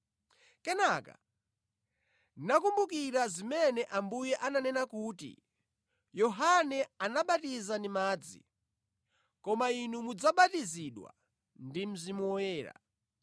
Kenaka ndinakumbukira zimene Ambuye ananena kuti, ‘Yohane anabatiza ndi madzi, koma inu mudzabatizidwa ndi Mzimu Woyera.’